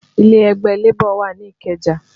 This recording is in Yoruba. Ilé ẹgbẹ́ Labour wà ní Ikeja